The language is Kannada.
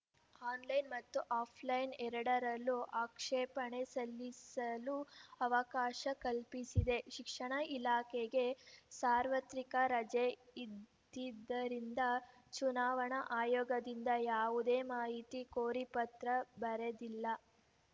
ಆನ್‌ಲೈನ್‌ ಮತ್ತು ಆಫ್‌ಲೈನ್‌ ಎರಡರಲ್ಲೂ ಆಕ್ಷೇಪಣೆ ಸಲ್ಲಿಸಲು ಅವಕಾಶ ಕಲ್ಪಿಸಿದೆ ಶಿಕ್ಷಣ ಇಲಾಖೆಗೆ ಸಾರ್ವತ್ರಿಕ ರಜೆ ಇದ್ದಿದ್ದರಿಂದ ಚುನಾವಣಾ ಆಯೋಗದಿಂದ ಯಾವುದೇ ಮಾಹಿತಿ ಕೋರಿ ಪತ್ರ ಬರೆದಿಲ್ಲ